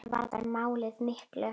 Enda varðar málið miklu.